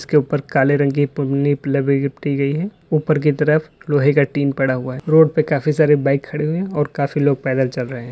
उसके ऊपर काले रंग की पन्नी लिपटी गई है ऊपर की तरफ लोहे का टीन पड़ा हुआ है रोड पे काफी सारे बाइक खड़े हुए हैं और काफी लोग पैदल चल रहे हैं।